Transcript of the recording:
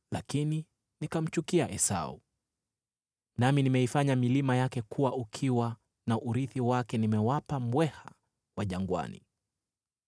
lakini nikamchukia Esau, nami nimeifanya milima yake kuwa ukiwa, na urithi wake nimewapa mbweha wa jangwani.”